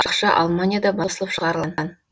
ақша алманияда басылып шығарылған